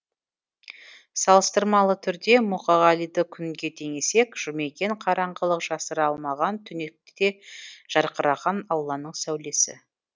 салыстырмалы түрде мұқағалиды күнге теңесек жұмекен қараңғылық жасыра алмаған түнекте де жарқыраған алланың сәулесі